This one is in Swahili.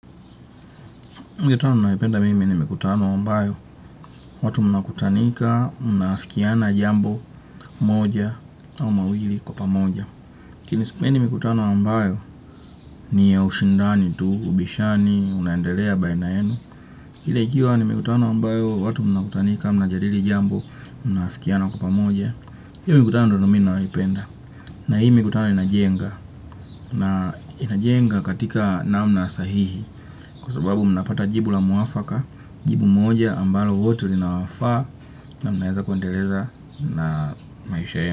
Mikutano ninayoipenda mimi ni mikutano ambayo, watu mna kutanika, mna afikiana jambo, moja, au mawili kwa pamoja. Lakini sipendi mikutano ambayo, ni ya ushindani tu, ubishani, unaendelea baina yenu. Ila ikiwa ni mikutano ambayo, watu mna kutanika, mna jadili jambo, mna afikiana kwa pamoja. Hio mikutano ndio nami naipenda. Na hii mikutano inajenga. Na inajenga katika namna sahihi kwa sababu mnapata jibu la mwafaka, jibu moja ambalo wote linawafaa na mnaweza kuendeleza na maisha yenu.